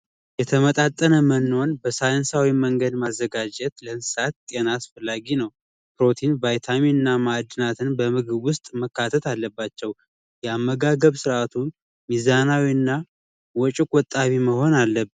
የተመጣጠነ መኖን በሳይንሳዊ መንገድ ማዘጋጀት ለእንስሳት ጤና አስፈላጊ ነው። ፕሮቲን፣ ቫይታሚን ና ማዕድናትም በምግብ ውስጥ መካተት አለባቸው የአመጋገብ ስርዓቱም ሚዛናዊ ና ወጪ ቆጣቢ መሆን አለበት።